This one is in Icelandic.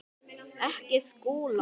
Ekki Skúla!